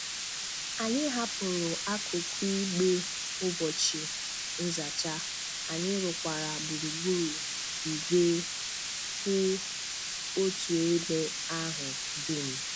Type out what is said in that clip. Anyị hapụrụ akụkụ igbe ụbọchị nzacha, anyị rụkwara gburugburu igwe kwụ otu ebe ahụ dum.